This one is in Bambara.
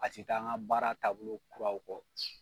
A ti taa an ka baara taabolo kuraw kɔ.